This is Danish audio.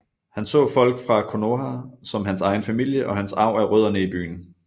Han så folk fra Konoha som hans egen familie og hans arv er rødderne i byen